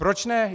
Proč ne?